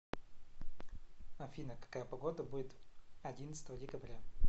афина какая погода будет одиннадцатого декабря